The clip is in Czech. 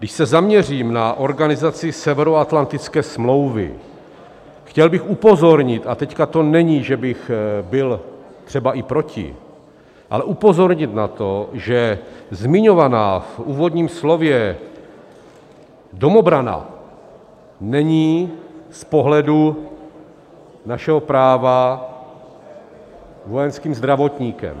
Když se zaměřím na organizaci Severoatlantické smlouvy, chtěl bych upozornit, a teď to není, že bych byl třeba i proti, ale upozornit na to, že zmiňovaná v úvodním slově domobrana není z pohledu našeho práva vojenským zdravotníkem.